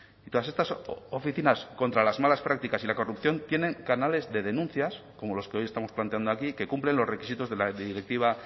y todas estas oficinas contra las malas prácticas y la corrupción tienen canales de denuncias como los que hoy estamos planteando aquí que cumplen los requisitos de la directiva